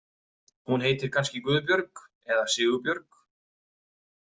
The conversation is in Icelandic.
Hún heitir kannski Guðbjörg eða Sigurbjörg.